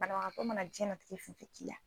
Banabagatɔ mana jiyɛnnatigɛ fɛn fɛn k'i la